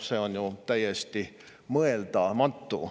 See oleks ju täiesti mõeldamatu.